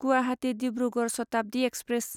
Guwahati Dibrugarh Shatabdi express